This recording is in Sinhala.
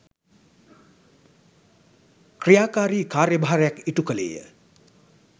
ක්‍රියාකාරී කාර්යභාරයක් ඉටු කළේය